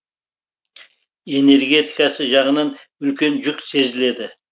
энергетикасы жағынан үлкен жүк сезіледі